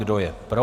Kdo je pro?